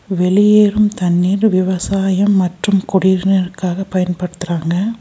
வெளியேறும் தண்ணீர் விவசாயம் மற்றும் குடிநீருக்காக பயன்படுத்துறாங்க.